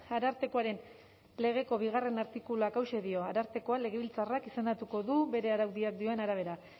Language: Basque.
arartekoaren legeko bigarrena artikuluak hauxe dio arartekoa legebiltzarrak izendatuko du bere araudiak dioen arabera